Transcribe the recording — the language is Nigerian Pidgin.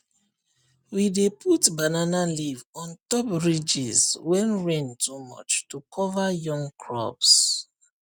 we dey put banana leaf on top ridges when rain too much to cover young crops